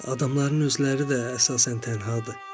Adamların özləri də əsasən tənha.